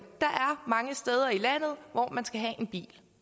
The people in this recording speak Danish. og mange steder i landet hvor man skal have en bil